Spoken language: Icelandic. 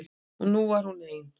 En hún var ein.